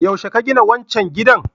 Yaushe aka gina wancan gidan?